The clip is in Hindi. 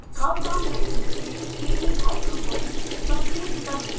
ड्राप डाउन मेन्यू से kdhydrophobicity पर क्लिक करें